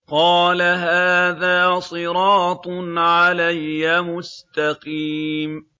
قَالَ هَٰذَا صِرَاطٌ عَلَيَّ مُسْتَقِيمٌ